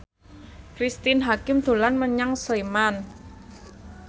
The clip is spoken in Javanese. Cristine Hakim dolan menyang Sleman